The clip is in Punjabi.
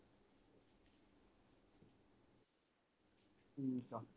ਠੀਕ ਆ